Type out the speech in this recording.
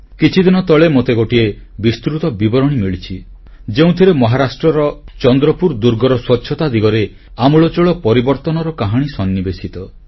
କିଛିଦିନ ତଳେ ମୋତେ ଗୋଟିଏ ବିସ୍ତୃତ ବିବରଣୀ ମିଳିଛି ଯେଉଁଥିରେ ମହାରାଷ୍ଟ୍ରର ଚନ୍ଦ୍ରପୁର ଦୁର୍ଗର ସ୍ୱଚ୍ଛତା ଦିଗରେ ଆମୁଳଚୂଳ ପରିବର୍ତ୍ତନର କାହାଣୀ ସନ୍ନିବେଶିତ